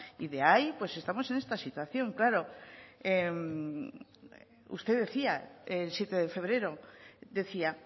y de ahí pues estamos en esa situación claro usted decía el siete de febrero decía